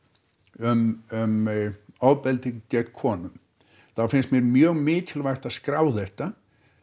um ofbeldi gegn konum þá finnst mér mjög mikilvægt að skrá þetta